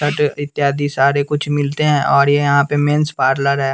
इत्यादि सारे कुछ मिलते हैं और ये यहाँ पे मेंस पार्लर है।